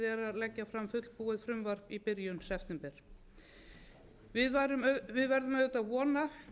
leggja fram fullbúið frumvarp í byrjun september við verðum auðvitað að vona